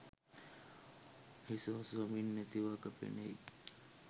හිස ඔසවමින් ඇති වග පෙනෙයි